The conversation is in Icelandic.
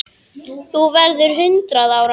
Þú verður hundrað ára.